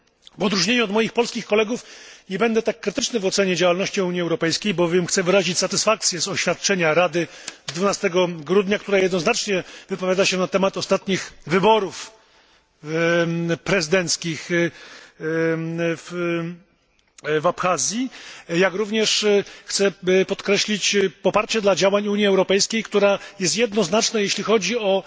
W odróżnieniu od moich polskich kolegów nie będę tak krytyczny w ocenie działalności Unii Europejskiej, bowiem chcę wyrazić satysfakcję z oświadczenia Rady z dnia 12 grudnia, które jednoznacznie wypowiada się na temat ostatnich wyborów prezydenckich w Abchazji, jak również chcę podkreślić poparcie dla działań Unii Europejskiej, która jest jednoznaczna, jeśli chodzi o